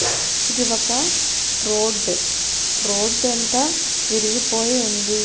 ఇది ఒక road road అంతా విరిగిపోయి ఉంది.